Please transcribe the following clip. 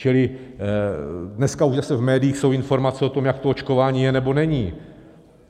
Čili dneska už zase v médiích jsou informace o tom, jak to očkování je, nebo není.